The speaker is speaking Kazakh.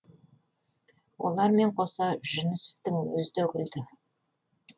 олармен қоса жүнісовтың өзі де күлді